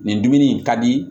Nin dumuni in ka di